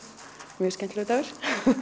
mjög skemmtilegur dagur